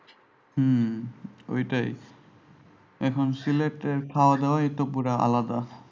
হম ঐটাই এখন সিলেটের খাওয়া দাওয়া পুরা একটু আলাদা।